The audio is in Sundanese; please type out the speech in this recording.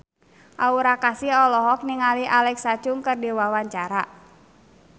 Aura Kasih olohok ningali Alexa Chung keur diwawancara